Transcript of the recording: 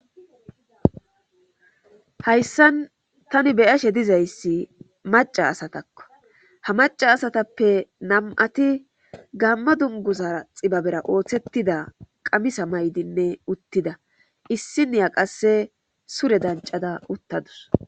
hayssan tani beyashe dizayssi maca asatakko ha maca asatappe nam7ati gamma dunguzara xibabera ooththettida qamisa maydinne uttida issi niya qasse sure dancada uttadus